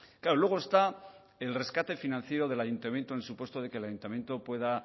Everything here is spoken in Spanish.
claro luego está el rescate financiero del ayuntamiento en el supuesto de que el ayuntamiento pueda